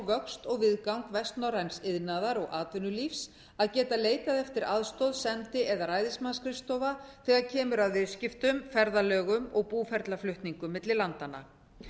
vöxt og viðgang vestnorræns iðnaðar og atvinnulífs að geta leitað eftir aðstoð sendi eða ræðismannsskrifstofa þegar kemur að viðskiptum ferðalögum og búferlaflutningum milli landanna